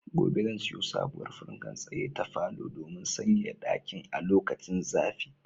Gobe ​​zan siyo sabowar fankar tsaye ta falo domin sanyaya ɗakin a lokacin zafi.